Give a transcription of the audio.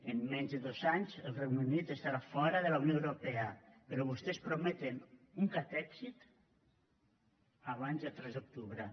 en menys de dos anys el regne unit estarà fora de la unió europea però vostès prometen un catexit abans del tres d’octubre